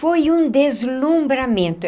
Foi um deslumbramento.